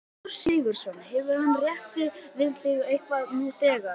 Gissur Sigurðsson: Hefur hann rætt við þig eitthvað nú þegar?